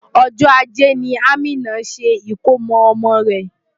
Ọjọ́ ajé ni Amina ṣe ìkómo ọmọ rẹ̀.